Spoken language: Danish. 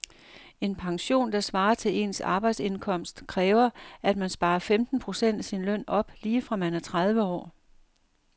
En pension, der svarer til ens arbejdsindkomst, kræver at man sparer femten procent af sin løn op lige fra man er tredive år.